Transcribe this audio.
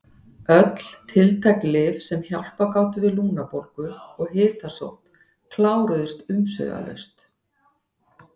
Öll tiltæk lyf sem hjálpað gátu við lungnabólgu og hitasótt kláruðust umsvifalaust.